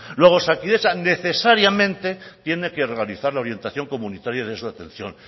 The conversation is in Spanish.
luego osakidetza necesariamente tiene que organizar la orientación comunitaria de esta atención